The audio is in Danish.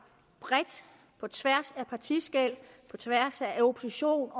bredt på tværs af partiskel på tværs af oppositions